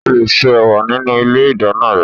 O lè ṣe ẹ̀wà nínú ilé ìdáná rẹ